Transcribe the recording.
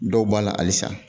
Dɔw b'a la alisa